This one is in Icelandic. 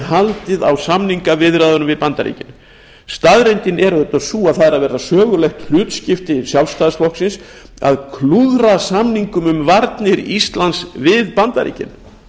haldið á samningaviðræðunum við bandaríkin staðreyndin er auðvitað sú að það er að verða sögulegt hlutskipti sjálfstæðisflokksins að klúðra samingum um varnir íslands við bandaríkin